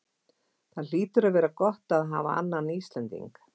Það hlýtur að vera gott að hafa annan Íslending?